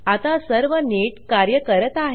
आता सर्व नीट कार्य करत आहे